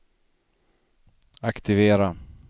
aktivera